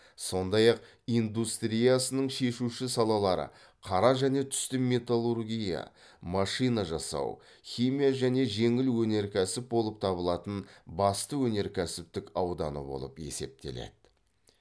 сондай ақ индустриясының шешуші салалары қара және түсті металлургия машина жасау химия және жеңіл өнеркәсіп болып табылатын басты өнеркәсіптік ауданы болып есептеледі